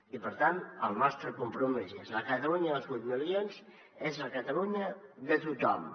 i per tant el nostre compromís si és la catalunya dels vuit milions és la catalunya de tothom